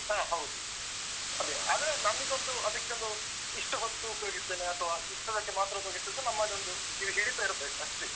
ಹ ಹೌದು. ಅದೇ ಆದ್ರೆ ನಮಿಗೊಂದು ಅದಕೊಂಡು ಇಷ್ಟು ಹೊತ್ತು ಉಪಯೋಗಿಸ್ತೆನೆ, ಅಥವಾ ಇದಕ್ಕೆ ಮಾತ್ರ ಉಪಯೋಗಿಸ್ತೇನೆ ಅಂತ ನಮ್ಮದೊಂದು ಇದು ಹಿಡಿತ ಇರುತ್ತೆ ಅಷ್ಟೇ.